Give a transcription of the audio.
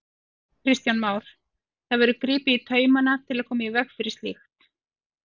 Kristján Már: Það verður gripið í taumana til að koma í veg fyrir slíkt?